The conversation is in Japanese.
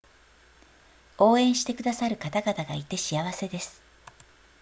応援してくださる方々がいて幸せです